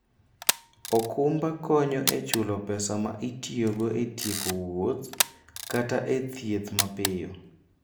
okumba konyo e chulo pesa ma itiyogo e tieko wuoth kata e thieth mapiyo.